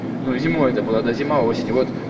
ну и зимой это было да зима осень вот